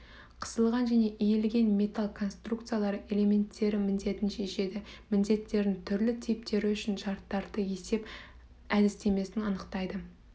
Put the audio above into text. қысылған және иілген металл конструкциялары элементтері міндетін шешеді міндеттердің түрлі типтері үшін шарттарды есеп әдістемесін анықтайды